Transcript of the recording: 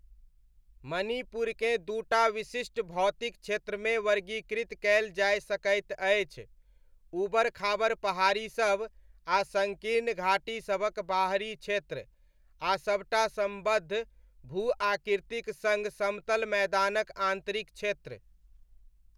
मणिपुरकेँ दूटा विशिष्ट भौतिक क्षेत्रमे वर्गीकृत कयल जाय सकैत अछि, ऊबड़ खाबड़ पहाड़ीसब आ सङ्कीर्ण घाटीसभक बाहरी क्षेत्र, आ सबटा सम्बद्ध भू आकृतिक सङ समतल मैदानक आन्तरिक क्षेत्र।